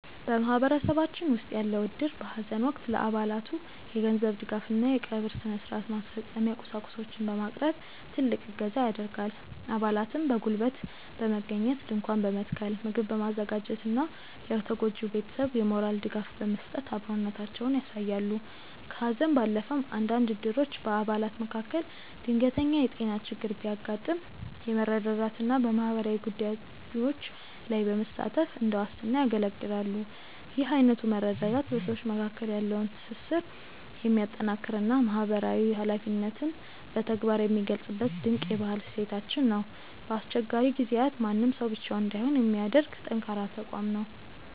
በማህበረሰባችን ውስጥ ያለው እድር በሐዘን ወቅት ለአባላቱ የገንዘብ ድጋፍና የቀብር ሥነ-ሥርዓት ማስፈጸሚያ ቁሳቁሶችን በማቅረብ ትልቅ እገዛ ያደርጋል። አባላትም በጉልበት በመገኘት ድንኳን በመትከል፣ ምግብ በማዘጋጀትና ለተጎጂው ቤተሰብ የሞራል ድጋፍ በመስጠት አብሮነታቸውን ያሳያሉ። ከሐዘን ባለፈም፣ አንዳንድ እድሮች በአባላት መካከል ድንገተኛ የጤና ችግር ሲያጋጥም በመረዳዳትና በማህበራዊ ጉዳዮች ላይ በመሳተፍ እንደ ዋስትና ያገለግላሉ። ይህ አይነቱ መረዳዳት በሰዎች መካከል ያለውን ትስስር የሚያጠናክርና ማህበራዊ ኃላፊነትን በተግባር የሚገልጽበት ድንቅ የባህል እሴታችን ነው። በአስቸጋሪ ጊዜያት ማንም ሰው ብቻውን እንዳይሆን የሚያደርግ ጠንካራ ተቋም ነው።